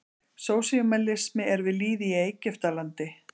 Sósíalismi er við lýði í Egyptalandi.